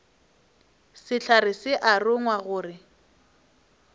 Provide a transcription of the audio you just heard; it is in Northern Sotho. sehlare se a rongwa gore